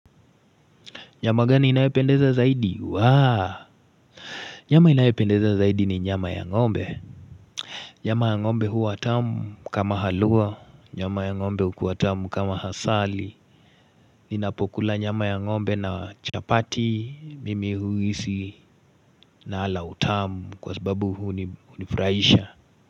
Nyama gani inayopendeza zaidi waaa nyama inayopendeza zaidi ni nyama ya ng'ombe nyama ya ng'ombe huwa tamu kama haluwa nyama ya ngo'mbe hukuwa tamu kama hasali ninapokula nyama ya ngo'mbe na chapati mimi huhisi nala utamu kwa sababu huni hunifurahisha.